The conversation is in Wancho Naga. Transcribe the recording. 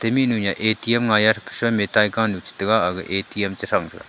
mihnu ya atm ngaiya kesan ya taiyah kan ya chitega aga atm chisang tega.